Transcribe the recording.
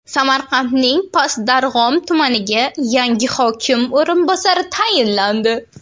Samarqandning Past Darg‘om tumaniga yangi hokim o‘rinbosari tayinlandi.